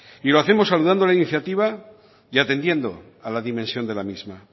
y lo hacemos saludando la iniciativa y atendiendo a la dimensión de la misma